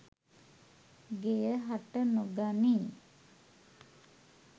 ගෙය හට නොගනියි.